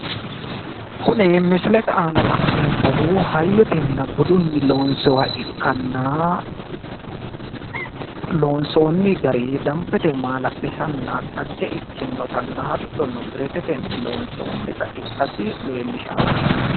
kuni misilete aana la'neemmohu hayyotenna budunni loonssoonniha ikkana loonssoonni gari dambbete maalla'lisanna xagge ikkinotanna biretetenni loonsoonita ikkasi leellishanno.